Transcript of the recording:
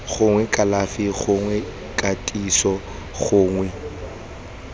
gongwe kalafi gongwe katiso gongwe